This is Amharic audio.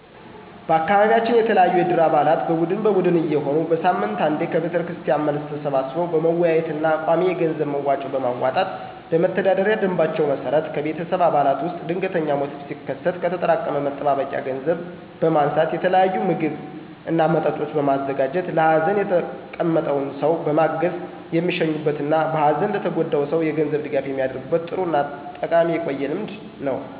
በአካቢያችን የተለያዩ የእድር አባላት በቡድን በቡድን እየሆኑ በሳምንት አንዴ ከቤተክርስቲያን መልስ ተሰባስበው በመወያየት እና ቋሚ የገንዘብ መዋጮ በማዋጣት በመተዳደሪያ ደምባቸው መሰረት ከቤተሰብ አባላት ውስጥ ድንገተኛ ሞት ሲከሰት ከተጠራቀመ መጠባበቂያ ገንዘብ በማንሳት የተለያየ ምግብ እና መጠጦች በማዘጋጀት (በማቅረብ) ለሀዘን የተቀመጠውን ሰው በመጋበዝ የሚሸኙበት እና በሀዘን ለተጎዳው ሰው የገንዘብ ድጋፍ የሚደረግበት ጥሩ እና ጠቃሚ የቆየ ልምድ ነው።